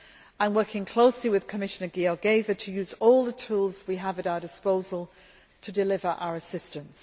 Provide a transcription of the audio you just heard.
I am working closely with Commissioner Georgieva to use all the tools we have at our disposal to deliver our assistance.